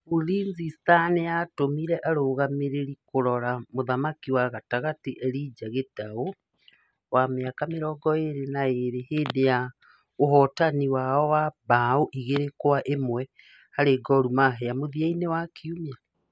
Ulinzi stars nĩ yatũmire arũgamĩrĩri kũrora kũrora mũthaki wa gatagatĩ Elijah Gitau , wa mĩaka mĩrongo ĩrĩ na ĩrĩ , hĩndĩ ya ũhotani wao wa mbaũ igĩrĩ kwa ĩmwe harĩ Gormahia mũthia-inĩ wa kiumia.